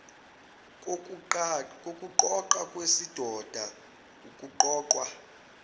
kokuqoqa kwesidoda ukuqoqwa